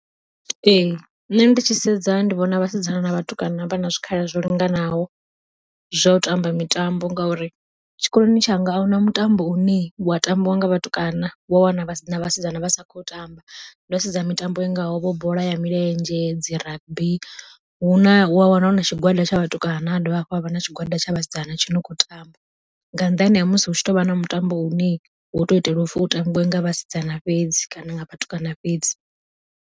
Ee nṋe ndi tshi sedza ndi vhona vhasidzana na vhatukana vha na zwikhala zwo linganaho zwa u tamba mitambo, ngauri tshikoloni tshanga ahuna mutambo une wa tambiwa nga vhatukana wa wana vhasidzana vha sa khou tamba ndo sedza mitambo i ngaho bola ya milenzhe, dzi rugby huna wa wana huna tshigwada tsha vhatukana ha dovha hafhu ha vha na tshigwada tsha vhasidzana tshi no kho tamba. Nga nnḓani ha musi hu tshi tovha na mutambo u ne wo to itelwa upfhi u tambiwa nga vhasidzana fhedzi kana nga vhatukana fhedzi.